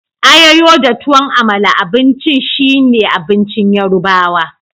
Ayoyo da tuwan Amala abincin shine abincin yorubawa.